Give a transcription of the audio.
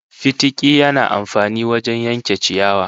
Fitiki yana amfani wajen yanke ciyawa